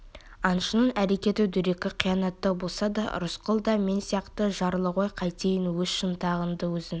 аңшының әрекеті дөрекі қиянаттау болса да рысқұл да мен сияқты жарлы ғой қайтейін өз шынтағыңды өзің